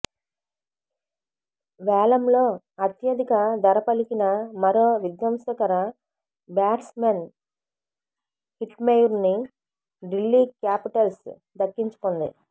వేలంలో అత్యధిక ధర పలికిన మరో విధ్వంసకర బ్యాట్స్మెన్ హిట్మెయిర్ను ఢిల్లీ క్యాపిటల్స్ దక్కించుకుంది